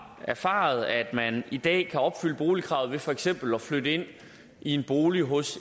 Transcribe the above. erfaret at man i dag kan opfylde boligkravet ved for eksempel at flytte ind i en bolig hos